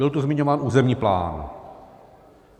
Byl tu zmiňován územní plán.